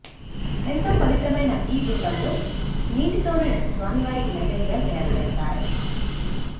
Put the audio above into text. ఎంతో పవిత్రమైన ఈ గుండంలో నీటితోనే స్వామి వారికి నైవేద్యాలు తయారుచేస్తారట